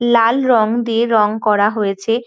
লাল রং দিয়ে রং করা হয়েছে।